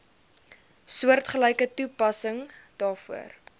soortgelyke toepassing daarvoor